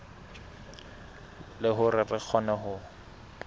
le hore re kgone ho